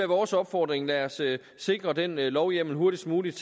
vores opfordring lad os sikre den lovhjemmel hurtigst muligt